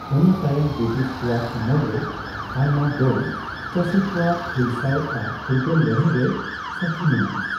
ᱚᱱᱟ ᱛᱟᱭᱚᱢ ᱵᱨᱤᱴᱤᱦ ᱠᱚᱣᱟᱜ ᱟᱢᱚᱞᱨᱮ ᱟᱭᱢᱟ ᱫᱚᱢ ᱪᱟ.ᱥᱤ ᱠᱚᱣᱟᱜ᱾ᱦᱩᱞᱥᱟ.ᱭ ᱟᱨ ᱯᱷᱩᱨᱜᱟ.ᱞ ᱞᱟ.ᱲᱦᱟ.ᱭ ᱨᱮ ᱥᱟ.ᱠᱷᱤ ᱢᱮᱱᱟᱜᱼᱟ।